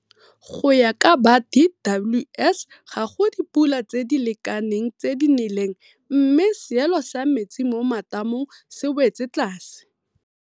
Go ya ka ba DWS ga go dipula tse di lekaneng tse di neleng mme seelo sa metsi mo matamong se wetse tlase.